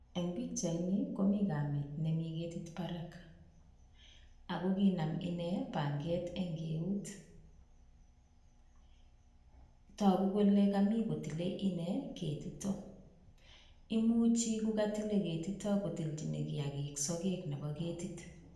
Eng' pichaitni komi kamit nemi ketit barak akokinam ine panget ing' eut toku kole kami kotile ine ketitok imuchi kokatile ketito kotilchini kiagik sakek nebo ketit